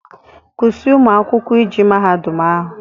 Kwụsị ụmụ akwụkwọ ije mahadum ahụ!